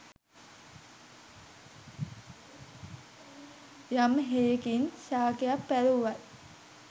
යම් හෙයකින් ශාකයක් පැළ වුවත්